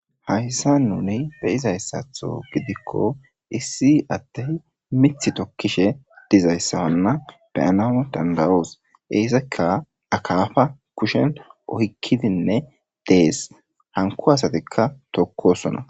hayssa nuni beyizayssatho gidikko issi adey mith tokishe dizaysa wana beyanaw danda'os, izika akafa kushen oykidinne dees , hanko asatikka tokosona.